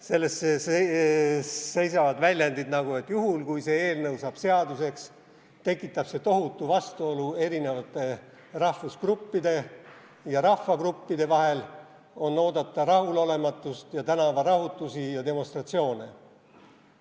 Selles seisavad väljendid, et juhul, kui see eelnõu saab seaduseks, tekitab see tohutu vastuolu erinevate rahvusgruppide ja rahvagruppide vahel, on oodata rahulolematust ja tänavarahutusi ja demonstratsioone.